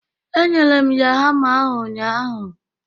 Enyere m ya hama ahụ ụnyaahụ